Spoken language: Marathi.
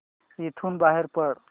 इथून बाहेर पड